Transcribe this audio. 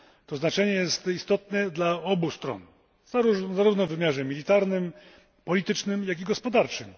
To znaczenie jest istotne dla obu stron, zarówno w wymiarze militarnym, politycznym, jak i gospodarczym.